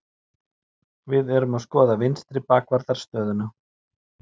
Við erum að skoða vinstri bakvarðar stöðuna.